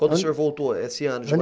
Quando o senhor voltou, esse ano de